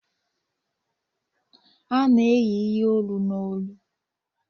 A na-eyi ihe olu n'olu